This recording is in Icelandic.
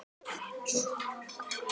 Þinn sonur Gunnar.